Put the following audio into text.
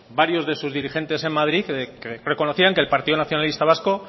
varios de sus dirigentes en madrid que reconocían que el partido nacionalista vasco